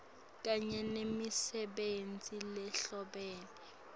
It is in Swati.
kanye nemisebenti lehlobene